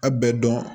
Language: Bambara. A bɛɛ dɔn